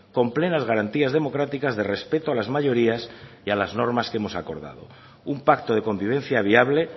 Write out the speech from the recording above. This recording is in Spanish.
con plenas garantías democráticas de respeto a las mayorías y a las normas que hemos acordado un pacto de convivencia viable